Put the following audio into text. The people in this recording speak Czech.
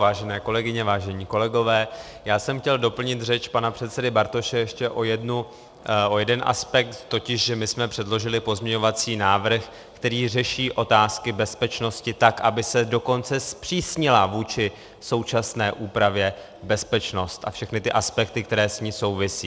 Vážené kolegyně, vážení kolegové, já jsem chtěl doplnit řeč pana předsedy Bartoše ještě o jeden aspekt, totiž že my jsme předložili pozměňovací návrh, který řeší otázky bezpečnosti tak, aby se dokonce zpřísnila vůči současné úpravě bezpečnost a všechny ty aspekty, které s ní souvisí.